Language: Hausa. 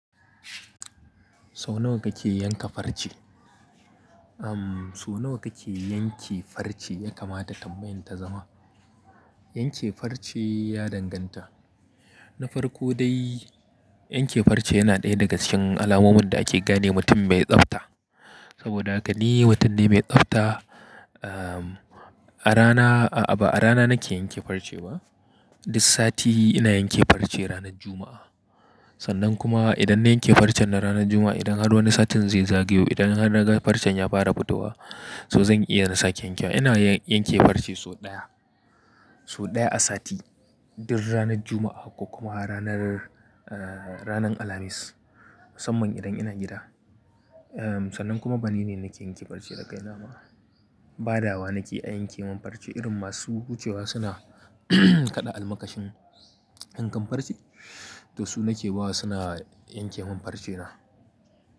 So nawa kake yanka farce? Am, so nawa kake yanke farce ya kamata tambayan ta zama. Yanke farce ya danganta. Na farko dai, yanke farce yana ɗaya daga cikin alamomin da ake gane mutum mai tsafta. Saboda haka ni mutum ne mai tsafta. Am, a rana, a ba a rana nake yanke farce ba. Duk sati ina yanke farce ranar Juma'a. Sannan kuma idan na yanke farcen na ranar Juma'a, idan har wani satin zai zagayo, idan har naga farcen ya fara fita wa, so zan iya na sake yanke wa. Ina yanke farce sau ɗaya, sau ɗaya a sati. Duk ranar Juma'a ko kuma ranar, eh, ranar Alhamis, musamman idan ina gida. Eh, sannan kuma bana ne nake yanke farce da kai na ba. Badawa nake a yanke min farce irin masu wucewa suna kaɗa almakashin yankan farce. To su nake bawa suna yanke min farce na.